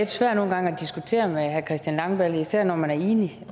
svært at diskutere med herre christian langballe især når man er enig